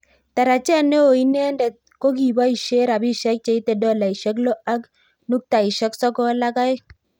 Tarajet neo inendet kokiboishe rabishe cheite dolaishek lo ak nuktaishek sokol ak aeng.